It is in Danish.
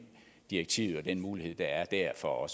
direktiv og den mulighed der er der for at